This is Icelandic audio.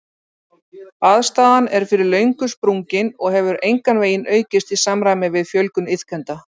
Aðstaðan er fyrir löngu sprungin og hefur engan veginn aukist í samræmi við fjölgun iðkenda.